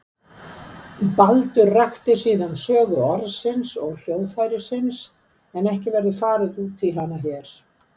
Baldur rakti síðan sögu orðsins og hljóðfærisins en ekki verður farið út í hana hér.